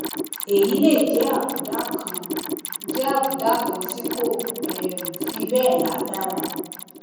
èyí lè jẹ àbùdá kan jẹ àbùdá kan tí kò um fi bẹẹ lágbára